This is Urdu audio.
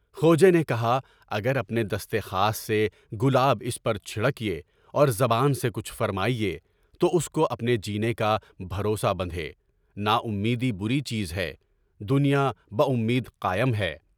کھوجے نے کہا: اگر اپنے دستِ خاص سے گلاب اس پر چھڑکیے اور زبان سے کچھ فرمائیں تو اس کو اپنے جینے کا بھروسا بندھے، ناامیدی بری چیز ہے، دنیا بہ امید قائم ہے۔